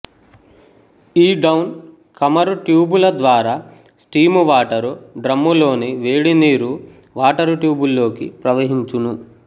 ఈ downcomer ట్యూబుల ద్వారా స్టీమువాటరు డ్రమ్ములోని వేడీ నీరు వాటరుట్యూబుల్లోకి ప్రవహించును